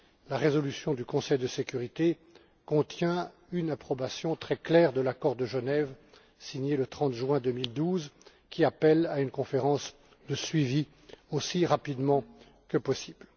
La résolution du Conseil de sécurité contient une approbation très claire de l'accord de Genève signé le 30 juin 2012, qui appelle à une conférence de suivi aussi rapidement que possible.